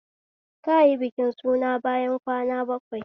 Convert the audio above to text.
Kayi bikin suna bayan kwana bakwai